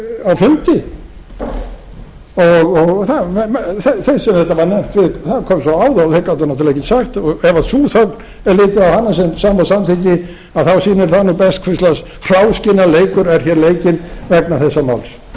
var nefnt það kom svo á þá að þeir gátu náttúrlega ekkert sagt og ef sú þögn ef það er litið er á hana sem sama og samþykki sýnir það best hvers lags hráskinnaleikur er hér leikinn vegna þessa máls